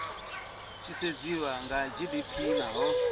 tshi sedziwa kha gdp naho